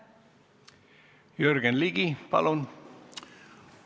Jürgen Ligi, palun!